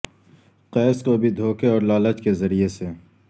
قیس کو بھی دھوکے اور لالچ کے ذریعے سے